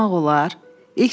Səni unutmaq olar.